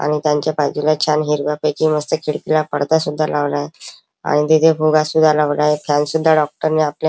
आणि त्यांच्या बाजूला छान हिरव्यापैकी मस्त खिडकीला पडदा सुद्धा लावलाय आणि तिथे फुगा सुद्धा लावलाय फॅन सुद्धा डॉक्टर नी आपल्या --